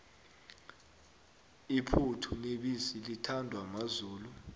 iphuthu nebisi lithandwa mazulu